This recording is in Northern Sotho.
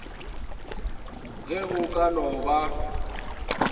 ge go ka no ba